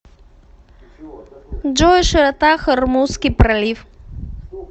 джой широта хормузский пролив